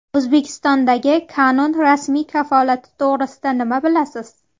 O‘zbekistondagi Canon rasmiy kafolati to‘g‘risida nima bilasiz?.